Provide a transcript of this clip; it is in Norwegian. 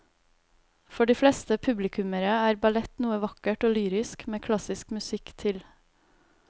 For de fleste publikummere er ballett noe vakkert og lyrisk med klassisk musikk til.